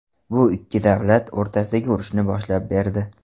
Bu ikki davlat o‘rtasidagi urushni boshlab berdi.